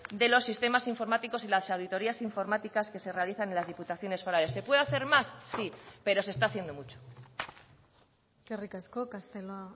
de los sistemas informáticos y las auditorías informáticas que se realizan en las diputaciones forales se puede hacer más sí pero se está haciendo mucho eskerrik asko castelo